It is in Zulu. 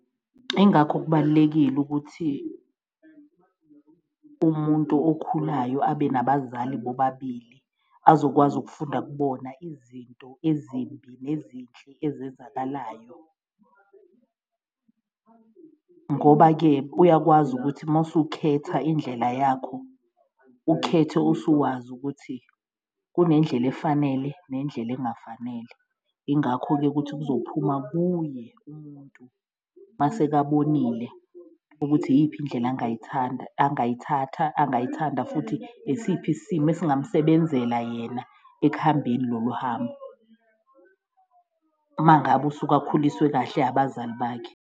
Ingakho kubalulekile ukuthi umuntu okhulayo abe nabazali bobabili azokwazi ukufunda kubona izinto ezimbi nezinhle ezenzakalayo, ngoba-ke uyakwazi ukuthi mawusukhetha indlela yakho, ukhethe usuwazi ukuthi kunendlela efanele nendlela engafanele. Ingakho-ke ukuthi kuzophuma kuye umuntu masekabonile ukuthi iyiphi indlela angayithanda, angayithatha, angayithanda futhi esiphi isimo esingamsebenzela yena ekuhambeni lolu hambo, uma ngabe usuke akhuliswe kahle abazali bakhe.